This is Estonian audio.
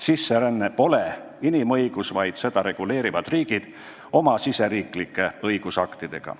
Sisseränne pole inimõigus, vaid seda reguleerivad riigid oma riigisiseste õigusaktidega.